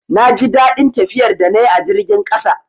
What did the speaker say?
Na ji daɗin tafiyar da na yi a jirgin ƙasa